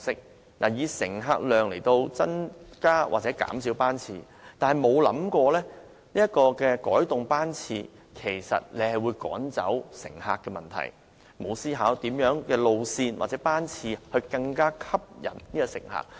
政府以乘客量為指標，按此增減班次，卻沒有注意到改動班次其實會趕走乘客，也沒有思考過甚麼路線或班次能更吸引乘客。